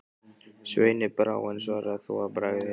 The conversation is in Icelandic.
Sveini brá, en svaraði þó að bragði: